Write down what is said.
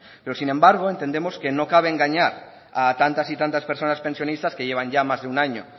pero sin embargo entendemos que no cabe engañar a tantas y tantas personas pensionistas que llevan más de un año